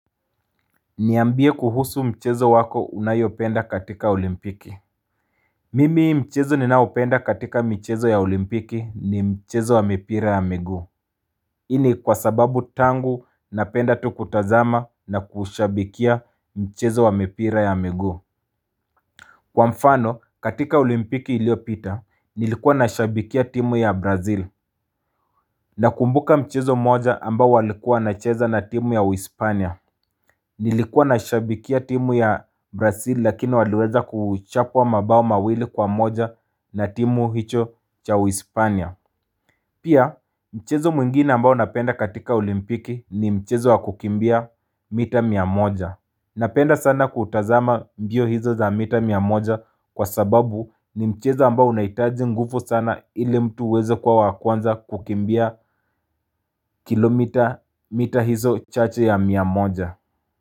Niambie kuhusu mchezo wako unayopenda katika olimpiki Mimi mchezo ninaopenda katika michezo ya olimpiki ni mchezo wa mipira ya miguu Ini kwa sababu tangu napenda tu kutazama na kushabikia mchezo wa mipira ya miguu Kwa mfano katika olimpiki iliopita nilikuwa nashibikia timu ya brazil Nakumbuka mchezo moja amba walikuwa nacheza na timu ya Uhispania Nilikuwa na shabikia timu ya Brasili lakini waliweza kuchapwa mabao mawili kwa moja na timu hicho cha Uispania Pia mchezo mwingine ambao napenda katika olimpiki ni mchezo wakukimbia mita miamoja Napenda sana kutazama mbio hizo za mita miamoja kwa sababu ni mchezo ambao unaitjii ngufu sana ili mtu wezo kwa wakuanza kukimbia kilomita mita hizo chache ya miamoja.